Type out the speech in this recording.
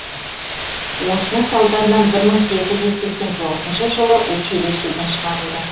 осының салдарынан бір мың сегіз жүз сексен төртінші жылы училищеден шығарылды